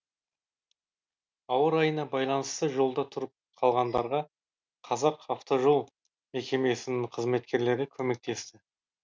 ауа райына байланысты жолда тұрып қалғандарға қазақавтожол мекемесінің қызметкерлері көмектесті